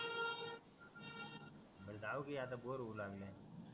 मग जाऊ कि आता बोर व्हयला लागला